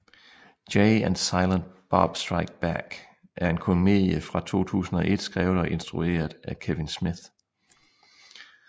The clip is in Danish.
Jay and Silent Bob Strike Back er en komedie fra 2001 skrevet og instrueret af Kevin Smith